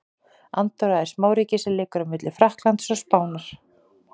Andorra er smáríki sem liggur á milli Frakklands og Spánar.